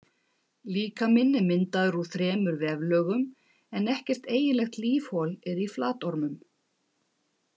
Líkaminn er myndaður úr þremur veflögum en ekkert eiginlegt lífhol er í flatormum.